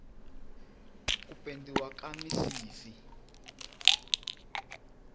ku pendiwa ka misisi